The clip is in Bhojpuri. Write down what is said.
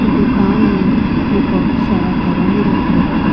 इ दुकान में बहुत सारा दवाई रखले बा।